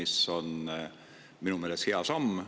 See on minu meelest hea samm.